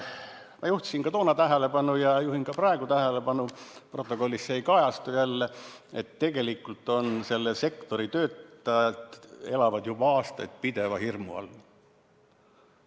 Ma juhtisin toona tähelepanu ja juhin ka praegu tähelepanu – protokollis ei kajastu see jälle –, et tegelikult elavad selle sektori töötajad juba aastaid pideva hirmu all.